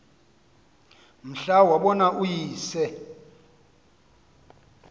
mhla wabona uyise